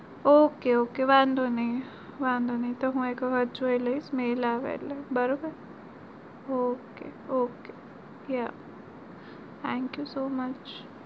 ok ok વાંધો નઈ વાંધો નઈ હું એક વાર જોયી લઈશ mail આવે એટલે બરાબર ok ok thenk you so much